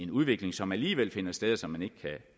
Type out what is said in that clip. udvikling som alligevel finder sted og som man ikke